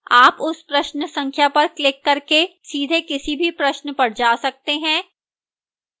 आप उस प्रश्न संख्या पर क्लिक करके सीधे किसी भी प्रश्न पर जा सकते हैं